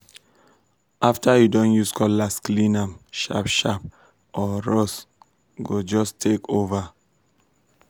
after you don use cutlass clean am sharp sharp or rust um go just take over.